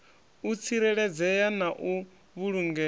u tsireledzea na u vhulungea